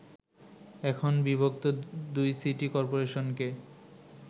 এখন বিভক্ত দুই সিটি করপোরেশনকে